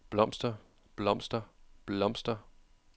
blomster blomster blomster